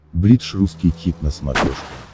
бридж русский хит на смотрешке